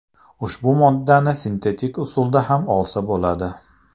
Ushbu moddani sintetik usulda ham olsa bo‘ladi.